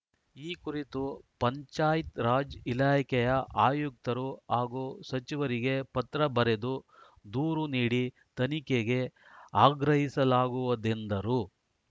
ಈ ಕುರಿತು ಪಂಚಾಯತ್‌ರಾಜ್‌ ಇಲಾಖೆಯ ಆಯುಕ್ತರು ಹಾಗೂ ಸಚಿವರಿಗೆ ಪತ್ರ ಬರೆದು ದೂರು ನೀಡಿ ತನಿಖೆಗೆ ಆಗ್ರಹಿಸಲಾಗುವುದೆಂದರು